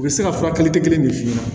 U bɛ se ka furakɛli kɛ kelen min f'i ɲɛna